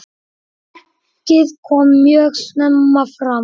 Merkið kom mjög snemma fram.